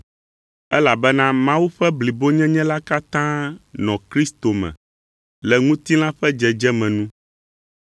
Elabena Mawu ƒe blibonyenye la katã nɔ Kristo me le ŋutilã ƒe dzedzeme nu,